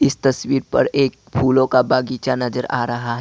इस तस्वीर पर एक फूलों का बगीचा नजर आ रहा है ।